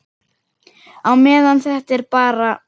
Á meðan þetta er bara.